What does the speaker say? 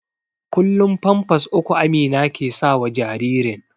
kullum pampas uku Amina ke sawa jaririn